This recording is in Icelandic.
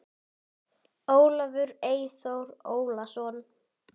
Þetta er bara ónýt vertíð.